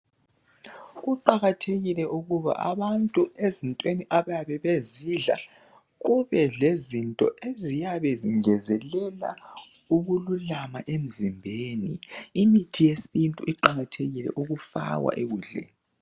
Kuqakathekile ukuba abantu ezintweni abayabe bezidla ,kube lezinto eziyabe zingezelela ukululama emzimbeni. Imithi yesintu iqakathekile ukufakwa ekudleni.